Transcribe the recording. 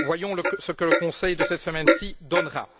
Voyons ce que le Conseil de cette semaine donnera.